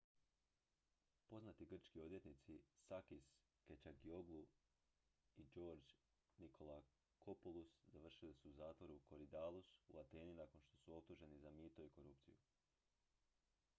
poznati grčki odvjetnici sakis kechagioglou i george nikolakopoulos završili su u zatvoru korydallus u ateni nakon što su optuženi za mito i korupciju